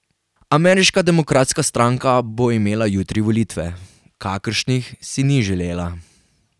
Ameriška demokratska stranka bo imela jutri volitve, kakršnih si ni želela.